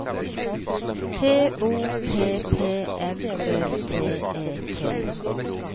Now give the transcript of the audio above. T O P P M Ø T E T